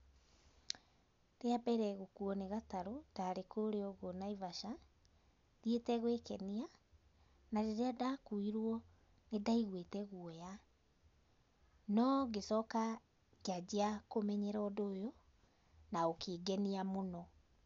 Rĩa mbere gũkuo nĩ gatarũ, ndarĩ kũrĩa ũguo Naivasha, thiĩte gwĩkenia, na rĩrĩa ndakuirwo, nĩndaigwĩte guoya. No ngĩcoka ngĩanjia kũmenyera ũndũ ũyũ na ũkĩngenia mũno.